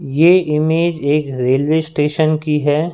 ये इमेज एक railway station की है।